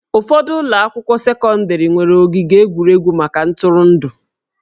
Ụfọdụ ụlọ akwụkwọ sekọndrị nwere ogige egwuregwu maka ntụrụndụ